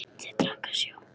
Þeir drekka sjó.